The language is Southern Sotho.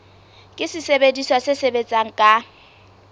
ke sesebediswa se sebetsang ka